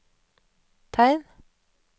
tegn